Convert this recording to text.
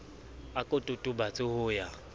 a ko totobatse ho ya